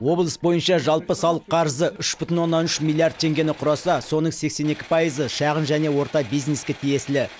облыс бойынша жалпы салық қарызы үш бүтін оннан үш миллиард теңгені құраса соның сексен екі пайызы шағын және орта бизнеске тиесілі